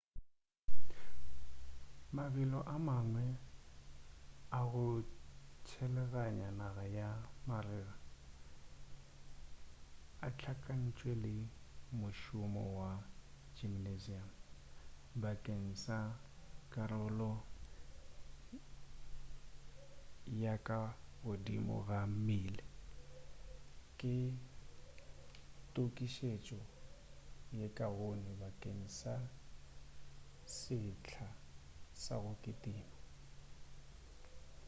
mabelo a mangwe a go tshelaganya naga ka marega a hlakantšwe le mošomo wa gymnasium bakeng sa karolo ya ka godimo ya mmele ke tokišetšo ye kaone bakeng sa sehla sa go kitima